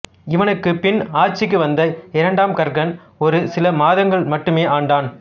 இவனுக்குப் பின் ஆட்சிக்கு வந்த இரண்டாம் கர்கன் ஒரு சில மாதங்கள் மட்டுமே ஆண்டான்